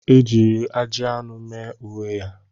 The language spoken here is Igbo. Ejiri ajị anụ mee uwe ya.